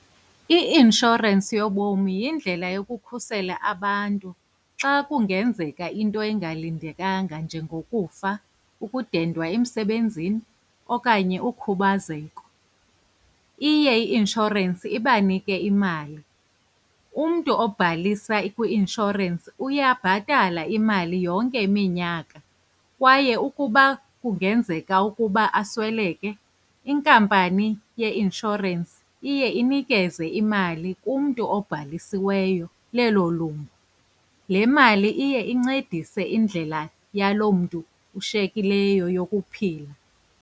I-inshorensi yobomi yindlela yokukhusela abantu xa kungenzeka into engalindelekanga njengokufa, ukudendwa emsebenzini okanye ukhubazeko. Iye i-inshorensi ibanike imali. Umntu obhalisa kwi-inshorensi uyabhatala imali yonke iminyaka kwaye ukuba kungenzeka ukuba asweleke, inkampani yeinshorensi iye inikeze imali umntu obhalisiweyo lelo lungu. Le mali iye incedise indlela yaloo mntu ushiyekileyo yokuphila.